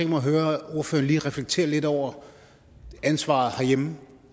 mig at høre ordføreren lige reflektere lidt over ansvaret herhjemme